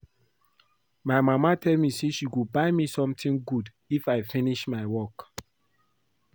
My mama tell me say she go buy me something good if I finish my work